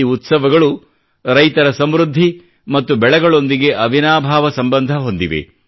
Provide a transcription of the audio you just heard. ಈ ಉತ್ಸವಗಳು ರೈತರ ಸಮೃದ್ಧಿ ಮತ್ತು ಬೆಳೆಗಳೊಂದಿಗೆ ಅವಿನಾಭಾವ ಸಂಬಂಧ ಹೊಂದಿವೆ